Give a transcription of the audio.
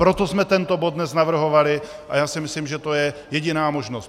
Proto jsme tento bod dnes navrhovali a já si myslím, že to je jediná možnost.